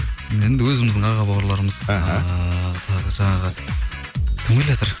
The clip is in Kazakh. енді өзіміздің аға бауырларымыз ыыы тағы жаңағы кім келатыр